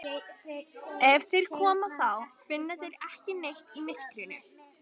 Ef þeir koma þá finna þeir ekki neitt í myrkrinu.